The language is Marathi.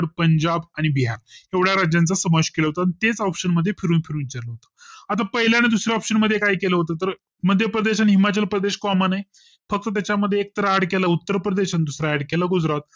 पंजाब आणि बिहार एवढ्या राज्याचा समावेश केला होता तेच option फिरून फिरून विचारलं होत आणि आता पाहिल्या आणि दुसऱ्या option मध्ये काय केलं होत तर मध्यप्रदेश आणि हिमाचल प्रदेश comman आहे फक्त त्याच्या मध्ये एकतर add केलं उत्तरप्रदेश आणि दुसर add केलं गुजरात